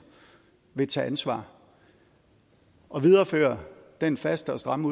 vil tage ansvar at videreføre den faste og stramme